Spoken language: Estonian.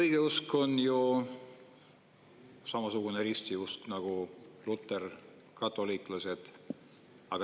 Õigeusk on ju samasugune ristiusk nagu luterlus ja katoliiklus.